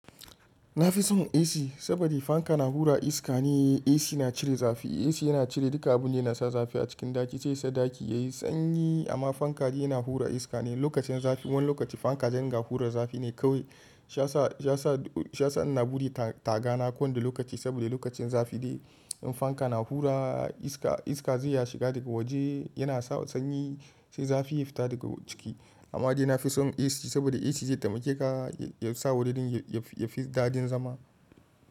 Na fi son AC saboda fanka na hura iska ne, AC na cire zafi. AC yana cire duka abin da yana sa zafi a cikin ɗaki sai yasa ɗaki yayi sanyi. Amma fanka dai yana hura iska ne. Lokacin zafi wani lokaci fanka zai ringa hura zafi ne kawai. Shiyasa sa, shiya sa, shiya sa in na buɗe tagana kowane lokaci saboda lokacin zafi ne. In fanka na hura iska, iska zai ya shiga daga waje yana sawa sanyi sai zafi ya fita daga ciki. Amma dai na fi son AC saboda AC zai taimake ka ya sa wuridin ya fi daɗin zama.